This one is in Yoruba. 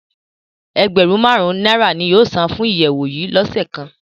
Ẹgbẹrun màrun naira ni yóò san fun iyẹwu yii lọse kan